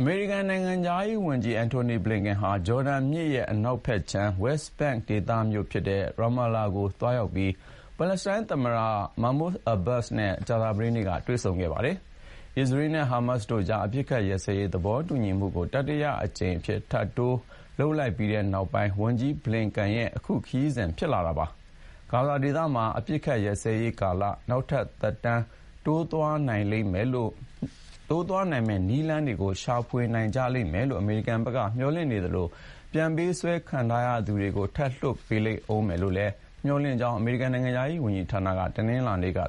အမေရိကန်နိုင်ငံခြားရေးဝန်ကြီး Antony Blinken ဟာ ဂျော်ဒန်မြစ် အနောက်ဘက်ခြမ်း West Bank ဒေသမြို့ဖြစ်တဲ့ Ramallah ကို သွားရောက်ပြီး ပါလက်စတိုင်း သမ္မတ Mahmoud Abbas နဲ့ ကြာသပတေးနေ့က တွေ့ဆုံပါတယ်။ အစ္စရေးနဲ့ ဟားမတ်စ်တို့ကြား အပစ်ခတ်ရပ်စဲရေး သဘောတူညီမှုကို တတိယအကြိမ်အဖြစ် ထပ်တိုးလိုက်ပြီးနောက် ဝန်ကြီး Blinken ရဲ့ ခရီးစဉ်ဖြစ်လာတာပါ။ ဂါဇာဒေသမှာ အပစ်ရပ်စဲရေးကာလ နောက်ထပ် သက်တမ်းတိုးသွားနိုင်မယ့် နည်းလမ်းတွေကို ရှာနိုင်ကြလိမ့်မယ်လို့ အမေရိကန်ဘက်က မျှော်လင့်နေသလို ပြန်ပေးဆွဲခံထားရသူတွေကို ထပ်လွှတ်ပေးလိမ့်မယ်လို့လည်း မျှော်လင့်ကြောင်း အမေရိကန်နိုင်ငံခြားရေးဌာနက တနင်္လာနေ့က ပြော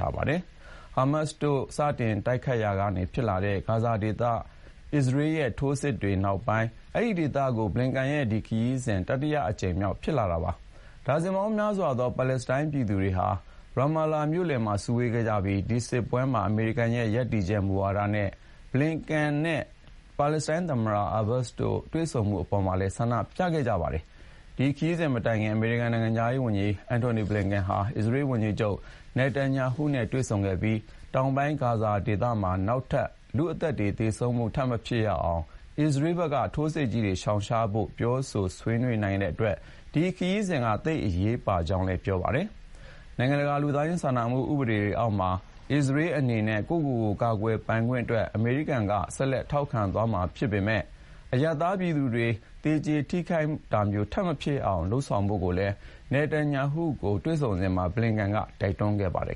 ထားပါတယ်။ ဟားမတ်စ်တို့ စတင်တိုက်ခိုက်ရာက ဖြစ်လာတဲ့ ဂါဇာဒေသ အစ္စရေးရဲ့ ထိုးစစ်တွေနောက်ပိုင်း အဲဒီဒေသကို Blinken ရဲ့ ဒီခရီးစဉ်က တတိယအကြိမ်မြောက် ဖြစ်ပါတယ်။ ဒါဇင်ပေါင်းများစွာသော ပါလက်စတိုင်းပြည်သူတွေဟာ Ramallah မြို့လယ်မှာ စုဝေးခဲ့ကြပြီး ဒီစစ်ပွဲမှာ အမေရိကန်ရဲ့ ရပ်တည်ချက်မူဝါဒနဲ့ ဘလင်ကန်နဲ့ ပါလက်စတိုင်းသမ္မတ အာဘတ်စ်တို့ တွေ့ဆုံမှုအပေါ်မှာပါ ဆန္ဒပြခဲ့ကြပါတယ်။ ဒီခရီးစဉ် မတိုင်ခင် နိုင်ငံခြားရေးဝန်ကြီး Antony Blinken ဟာ အစ္စရေးဝန်ကြီးချုပ် Benjamin Netanyahu နဲ့ တွေ့ဆုံခဲ့ပြီး ၊ တောင်ပိုင်း ဂါဇာဒေသမှာ နောက်ထပ် လူ့အသက်တွေ သေဆုံးမှု ထပ်မဖြစ်ရအောင် အစ္စရေးဘက်က ထိုးစစ်ကြီးတွေ ရှောင်ရှားဖို့ ပြောဆိုဆွေးနွေးနိုင်တဲ့အတွက် အဲဒီခရီးစဉ်က သိပ်အရေးပါကြောင်းလည်း ပြောပါတယ်။ နိုင်ငံတကာ လူသားချင်းစာနာမှုဥပဒေအောက်မှာ အစ္စရေးအနေနဲ့ ကိုယ့်ကိုယ်ကို ကာကွယ်ပိုင်ခွင့်အတွက် အမေရိကန်က ဆက်လက် ထောက်ခံသွားမှာဖြစ်ပေမယ့် အရပ်သားပြည်သူတွေ သေကြေထိခိုက်တာမျိုး ထပ်မဖြစ်ရအောင် လုပ်ဖို့ကိုလည်း Netanyahu နဲ့ တွေ့ဆုံစဉ်မှာ Blinken က တိုက်တွန်းခဲ့ပါတယ်